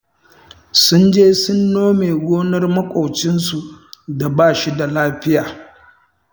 Sun je sun nome gonar maƙwabcinsu da ba shi da lafiya